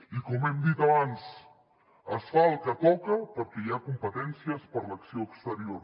i com hem dit abans es fa el que toca perquè hi ha competències per a l’acció exterior